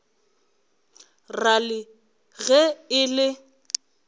ra le ge e le